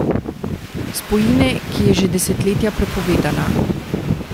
Spojine, ki je že desetletja prepovedana ...